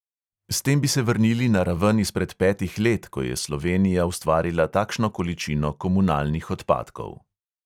S tem bi se vrnili na raven izpred petih let, ko je slovenija ustvarila takšno količino komunalnih odpadkov.